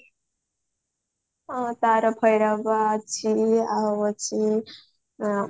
ହଁ ତାର ଭୈରବା ଅଛି ଆଉ ଅଛି